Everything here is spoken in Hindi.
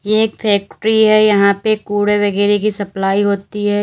ये एक फैक्ट्री है यहां पे कूड़े वगैरा की सप्लाई होती है।